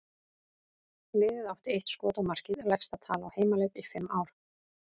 Liðið átti eitt skot á markið, lægsta tala á heimaleik í fimm ár.